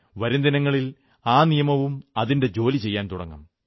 വരും ദിനങ്ങളിൽ ആ നിയമവും അതിന്റെ ജോലി ചെയ്യാൻ തുടങ്ങും